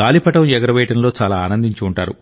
గాలిపటం ఎగురవేయడంలో చాలా ఆనందించి ఉంటారు